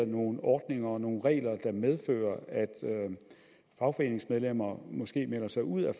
nogle ordninger og nogle regler der medfører at fagforeningsmedlemmer måske melder sig ud af